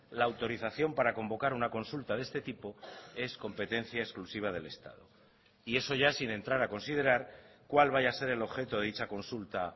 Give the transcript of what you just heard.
la autorización para convocar una consulta de este tipo es competencia exclusiva del estado y eso ya sin entrar a considerar cuál vaya a ser el objeto de dicha consulta